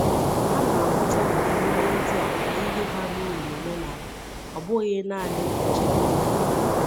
Hà na-ahụta emume ndị a ka ihe bara uru n’omenala, ọ bụghị naanị ichebe onwe ha.